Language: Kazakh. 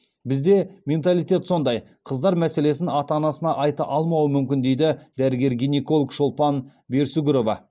бізде менталитет сондай қыздар мәселесін ата анасына айта алмауы мүмкін дейді дәрігер гинеколог шолпан берсүгірова